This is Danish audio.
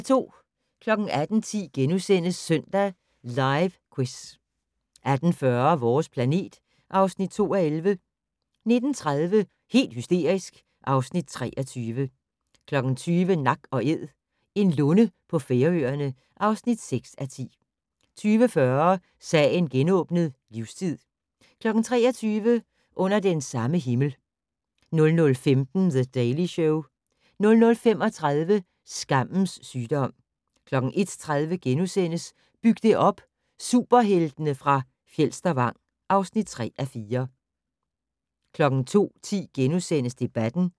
18:10: Søndag Live Quiz * 18:40: Vores planet (2:11) 19:30: Helt hysterisk (Afs. 23) 20:00: Nak & Æd - en lunde på Færøerne (6:10) 20:40: Sagen genåbnet: Livstid 23:00: Under den samme himmel 00:15: The Daily Show 00:35: Skammens sygdom 01:30: Byg det op - Superheltene fra Fjelstervang (3:4)* 02:10: Debatten *